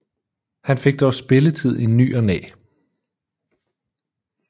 Han fik dog spilletid i ny og næ